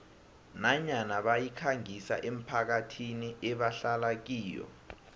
nanyana bayikhangisa emphakathini ebahlala kiyo